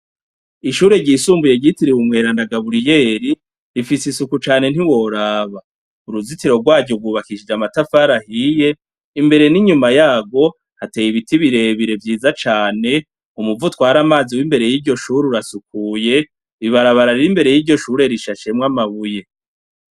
Ishure ryisumbuye ryitiriwe umweranda gaburiyeri, rifise isuku cane ntiworaba .Uruzitiro rwaryo rwubakishije amatafari ahiye, imbere n'inyuma yarwo, hateye ibiti birebire vyiza cane, umuvo utwara amazi w'imbere yiryo shuri urasukuye, ibarabara riri imbere yiryo shure rishashemwo amabuye.